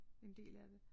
En del af det